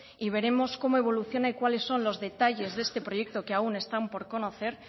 y veremos cómo evoluciona y cuáles son los detalles de este proyecto que aún están por conocer